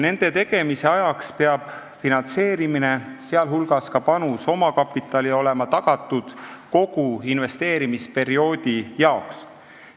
Nende tegemise ajaks peab finantseerimine, sh panus omakapitali, olema tagatud kogu investeerimisperioodi jaoks.